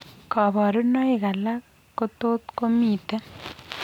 Kaborunoik alak kotot komiten